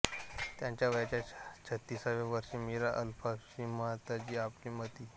त्यांच्या वयाच्या छत्तीसाव्या वर्षी मीरा अल्फासा श्रीमाताजी आपले पती मि